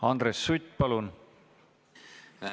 Andres Sutt, palun!